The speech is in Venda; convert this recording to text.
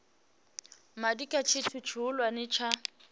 madi kha tshithu tshihulwane tsha